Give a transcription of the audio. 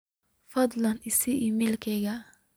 fadlan i sii iimaylkayga